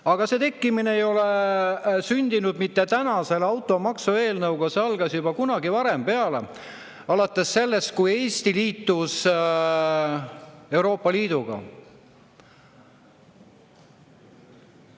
Aga see tekkimine ei ole sündinud mitte täna selle automaksu eelnõuga, see algas juba kunagi varem peale, alates sellest, kui Eesti liitus Euroopa Liiduga.